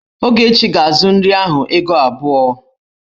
Ogechi ga-azu nri ahụ ego abụọ.